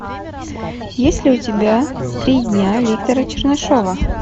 есть ли у тебя три дня виктора чернышова